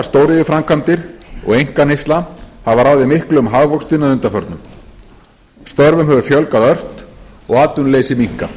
stóriðjuframkvæmdir og einkaneysla hafa ráðið miklu um hagvöxtinn að undanförnu störfum hefur fjölgað ört og atvinnuleysi minnkað